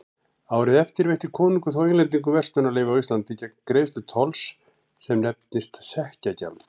Árið eftir veitti konungur þó Englendingum verslunarleyfi á Íslandi gegn greiðslu tolls sem nefndist sekkjagjald.